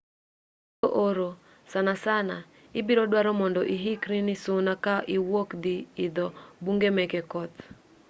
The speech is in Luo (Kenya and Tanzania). ndalo oro sanasana ibiro dwaro mondo ihikri ni suna ka iwuok dhi idho bunge meke koth